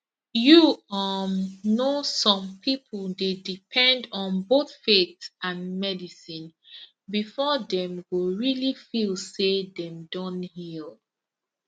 you um know some people dey depend on both faith and medicine before dem go really feel say dem don heal